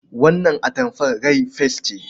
Wannan atamfar rai fes ce.